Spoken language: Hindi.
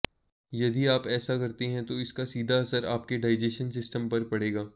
यदि आप ऐसा करते हैं तो इसका सीधा असर आपके डाइजेशन सिस्टम पर पड़ेगा